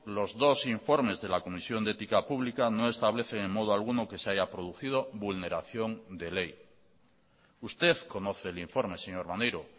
los dos informes de la comisión de ética pública no establecen en modo alguno que se haya producido vulneración de ley usted conoce el informe señor maneiro